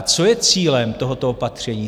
A co je cílem tohoto opatření?